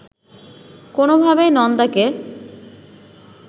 কোনোভাবেই নন্দাকে